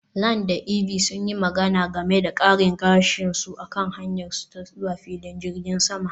Lan da Ivy sun yi magana game da karin gashi a kan hanyarsu ta zuwa filin jirgin sama